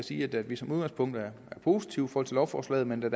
sige at vi som udgangspunkt er positive over for lovforslaget men da